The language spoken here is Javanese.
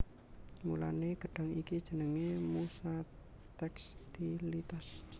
Mulané gedhang iki jenengé musa tékstilitas